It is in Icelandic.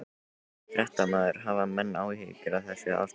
Fréttamaður: Hafa menn áhyggjur af þessu ástandi?